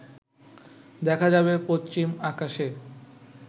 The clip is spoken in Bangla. দেখা যাবে পশ্চিম আকাশে